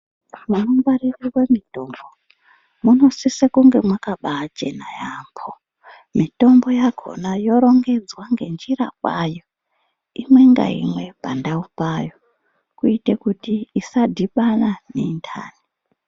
Munongwarirwe mitombo munosise kunge makabachena yambo. Mitombo yakona yorongedzwa ngenjira kwayo, imwe ngaimwe pandau payo kuite kuti isadhibana nenthayi.